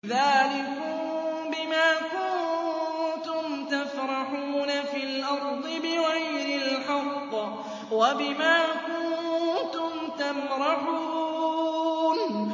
ذَٰلِكُم بِمَا كُنتُمْ تَفْرَحُونَ فِي الْأَرْضِ بِغَيْرِ الْحَقِّ وَبِمَا كُنتُمْ تَمْرَحُونَ